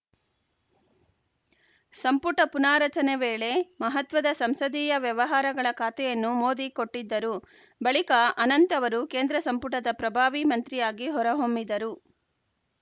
ಸಂಪುಟ ಪುನಾರಚನೆ ವೇಳೆ ಮಹತ್ವದ ಸಂಸದೀಯ ವ್ಯವಹಾರಗಳ ಖಾತೆಯನ್ನು ಮೋದಿ ಕೊಟ್ಟಿದ್ದರು ಬಳಿಕ ಅನಂತ್‌ ಅವರು ಕೇಂದ್ರ ಸಂಪುಟದ ಪ್ರಭಾವಿ ಮಂತ್ರಿಯಾಗಿ ಹೊರಹೊಮ್ಮಿದರು